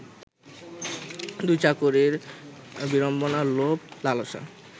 দুই চাকরীর বিড়ম্বনা, লোভ লালসা